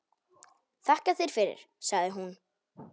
Þakka þér fyrir, sagði hún.